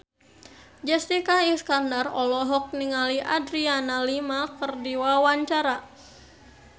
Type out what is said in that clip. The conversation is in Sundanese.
Jessica Iskandar olohok ningali Adriana Lima keur diwawancara